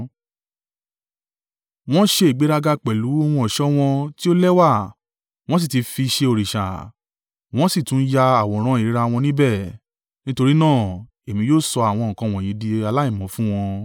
Wọ́n ń ṣe ìgbéraga pẹ̀lú ohun ọ̀ṣọ́ wọn tí ó lẹ́wà, wọn sì ti fi ṣe òrìṣà, wọn sì tún ya àwòrán ìríra wọn níbẹ̀. Nítorí náà, èmi yóò sọ àwọn nǹkan wọ̀nyí di aláìmọ́ fún wọn.